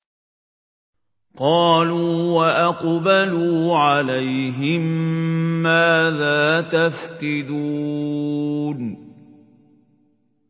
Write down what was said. قَالُوا وَأَقْبَلُوا عَلَيْهِم مَّاذَا تَفْقِدُونَ